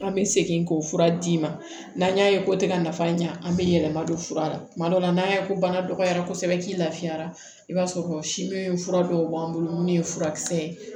An bɛ segin k'o fura d'i ma n'an y'a ye ko tɛ ka nafa ɲa an bɛ yɛlɛma don fura la tuma dɔ la n'an ye ko bana dɔgɔyara kosɛbɛ k'i lafiyara i b'a sɔrɔ si min fura dɔw b'an bolo minnu ye furakisɛ ye